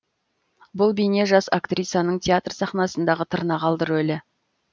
бұл бейне жас актрисаның театр сахнасындағы тырнақалды рөлі